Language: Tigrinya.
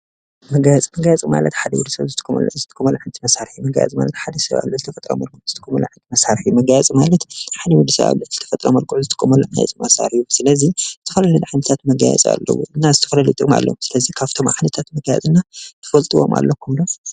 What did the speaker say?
መጋየፂ፥- መጋየፂ ማለት ሓደ ወዲ ሰብ ዝጥቀመሉ ዓይነት መሳርሒ እዩ፡፡ መጋየፂ ማለት ሓደ ሰብ ኣብ ልዕሊ ተፈጥራዊ መልክዑ ዝጥቀመሉ ዓይነት መሳርሒ እዩ፡፡ መጋየፂ ማለት ሓደ ወዲ ሰብ ኣብ ልዕሊ ተፈጥራዊ መልክዑ ዝጥቀመሉ ናይ ጌፅ መሳርሒ እዩ፡፡ ስለዚ ዝተፈላለዩ ዓይነታት መጋየፂ ኣለዉ እና ዝተፈላለዩ ዓይነት ጥቕሚ ኣለዎም እና ስለዚ ካብቶም ዓይነታት መጋየፅና ትፈልጥዎም ኣለኹም ዶ?